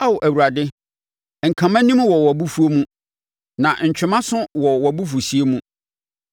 Ao, Awurade nka mʼanim wɔ wʼabofuo mu, na ntwe mʼaso nso wɔ wʼabufuhyeɛ mu.